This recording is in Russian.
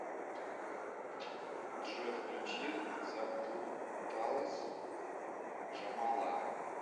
джой включи заплуталась джамала